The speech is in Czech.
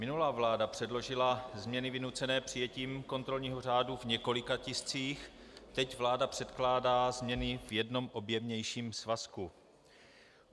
Minulá vláda předložila změny vynucené přijetím kontrolního řádu v několika tiscích, teď vláda předkládá změny v jednom objemnějším svazku.